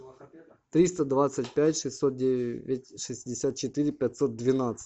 триста двадцать пять шестьсот девять шестьдесят четыре пятьсот двенадцать